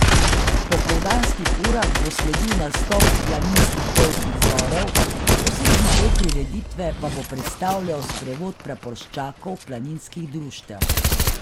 V popoldanskih urah bo sledil nastop planinskih pevskih zborov, osrednji del prireditve pa bo predstavljal sprevod praporščakov planinskih društev.